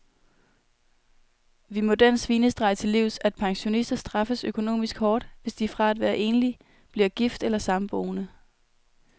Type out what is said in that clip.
Vi må den svinestreg til livs, at pensionister straffes økonomisk hårdt, hvis de fra at være enlig bliver gift eller samboende.